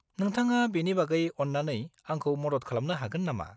-नोंथाङा बेनि बागै अन्नानै आंखौ मदद खालामनो हागोन नामा?